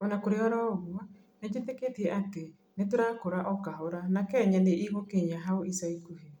ũna kũrĩ oroũguo, nĩnjĩtĩkĩtie atĩ nĩtũrakura o kahora na Kenya nĩ igukinya hau ica ikuhĩ